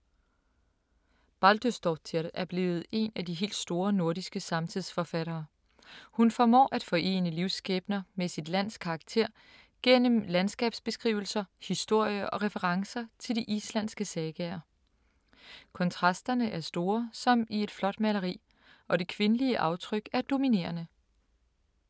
Baldursdóttir er blevet en af de helt store nordiske samtidsforfattere. Hun formår at forene livsskæbner med sit lands karakter gennem landskabsbeskrivelser, historie og referencer til de islandske sagaer. Kontrasterne er store som i et flot maleri, og det kvindelige aftryk er dominerende.